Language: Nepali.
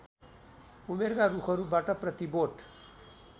उमेरका रुखहरूबाट प्रतिबोट